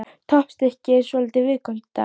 Toppstykkið er svolítið viðkvæmt í dag.